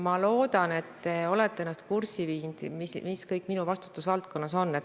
Ma loodan, et olete ennast kurssi viinud sellega, mis kõik minu vastutusvaldkonnas on.